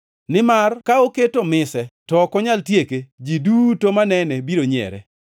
Nimar ka oketo mise to ok onyal tieke, ji duto manene biro nyiere,